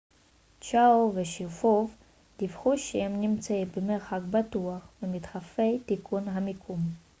צ'יאו ושריפוב דיווחו שהם נמצאים במרחק בטוח ממדחפי תיקון המיקום